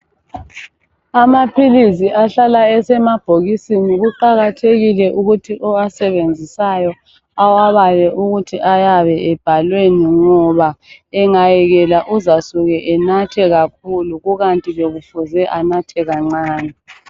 Amaphilisi ahlala esemabhokisini kuqakathekile ukuthi owasebenzisayo awabale ukuthi ayabe ebhalweni ngoba, engayekela uzasuke enathe kakhulu kukanti bekufuze anathe kancane.